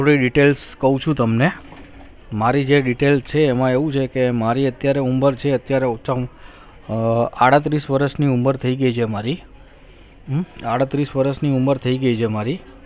મારી details કહું છું તમને મારી જે details એમાં એવું છે કે મારી અત્યારે ઉંમર છે અત્યારે ઓછા માં આડત્રીસ વરસ ની ઉંમર થઇ ગઈ છે આડત્રીસ વરસ ની ઉંમર થઇ ગઈ છે મારી